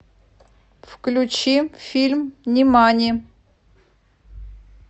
включи фильм нимани